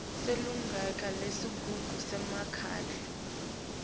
kulilunga lesigungu semkhandlu